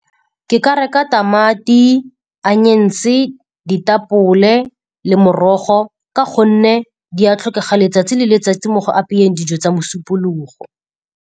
Ke ka reka tamati, anyense, ditapole le morogo ka gonne di a tlhokega letsatsi le letsatsi mo go apeyeng dijo tsa mosupologo.